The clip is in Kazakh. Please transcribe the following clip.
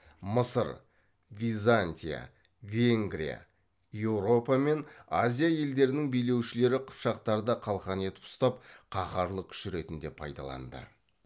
мысыр византия венгрия еуропа мен азия елдерінің билеушілері қыпшақтарды қалқан етіп ұстап қаһарлы күш ретінде пайдаланды